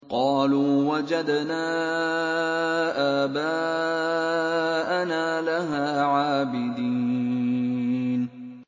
قَالُوا وَجَدْنَا آبَاءَنَا لَهَا عَابِدِينَ